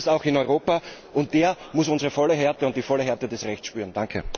Den gibt es auch in Europa, und der muss unsere volle Härte und die volle Härte unseres Rechts spüren.